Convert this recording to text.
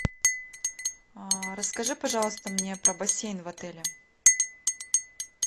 расскажи пожалуйста мне про бассейн в отеле